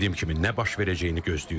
Dediyim kimi nə baş verəcəyini gözləyirik.